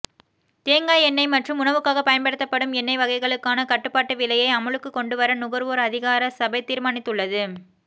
தேங்காய் எண்ணெய் மற்றும் உணவுக்காக பயன்படுத்தப்படும் எண்ணெய் வகைகளுக்கான கட்டுபாட்டு விலையை அமுலுக்கு கொண்டுவர நுகர்வோர் அதிகார சபை தீர்மானித்துள்ளது